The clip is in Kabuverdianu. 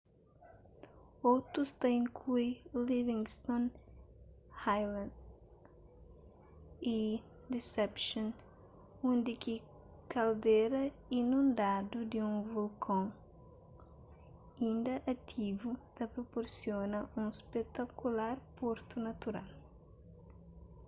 otus ta inklui livingston island y deception undi ki kaldera inundadu di un volkon inda ativu ta proporsiona un spetakular portu natural